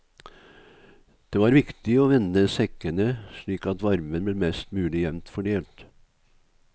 Det var viktig å vende sekkene slik at varmen ble mest mulig jevnt fordelt.